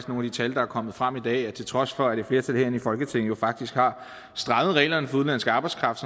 nogle tal der er kommet frem i dag at til trods for at et flertal herinde i folketinget jo faktisk har strammet reglerne for udenlandsk arbejdskraft